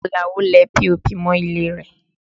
Àlàó lẹ POP mọ ilé rẹ̀